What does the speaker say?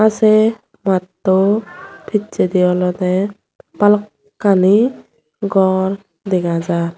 se matto picchedi olode balokkani gor dega jaar.